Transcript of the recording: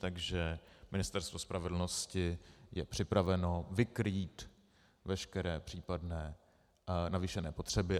Takže Ministerstvo spravedlnosti je připraveno vykrýt veškeré případné navýšené potřeby.